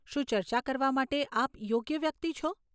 શું ચર્ચા કરવા માટે આપ યોગ્ય વ્યક્તિ છો?